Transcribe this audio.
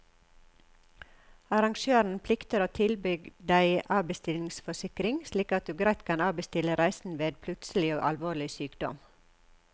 Arrangøren plikter å tilby deg avbestillingsforsikring, slik at du greit kan avbestille reisen ved plutselig og alvorlig sykdom.